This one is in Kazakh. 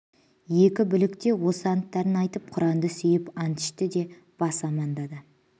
екі бұлік те осы анттарын айтып құранды сүйіп ант ішті де бас амаңдады